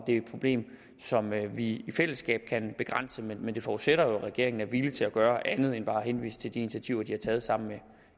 det er et problem som vi i fællesskab kan begrænse men det forudsætter jo at regeringen er villig til at gøre andet end bare at henvise til de initiativer de har taget sammen